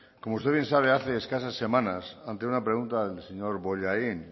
como usted bien sabe hace escasas semanas ante una pregunta del señor bollain